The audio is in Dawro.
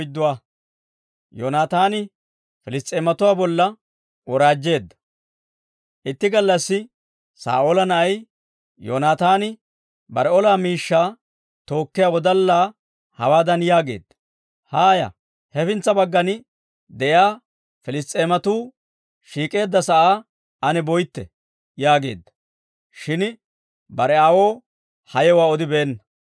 Itti gallassi Saa'oola na'ay Yoonaataani bare ola miishshaa tookkiyaa wodallaa hawaadan yaageedda; «Haaya; hefintsa baggan de'iyaa Piliss's'eematuu shiik'k'eedda sa'aa ane boytte» yaageedda. Shin bare aawoo ha yewuwaa odibeenna.